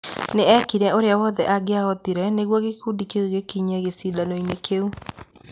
Nĩ eekire ũrĩa wothe angĩahotire nĩguo gĩkundi kĩu gĩkinye gĩcindano-inĩ kĩu.